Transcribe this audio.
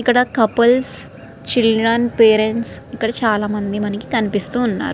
ఇక్కడ couples childrens parents ఇక్కడ చాలామంది కనిపిస్తున్నారు.